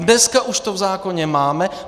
Dneska už to v zákoně máme.